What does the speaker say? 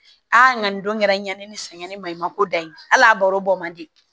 Aa n ka nin don kɛra n ɲɛ ni sɛgɛn ni maɲumako da ye hali a baro bɔ man di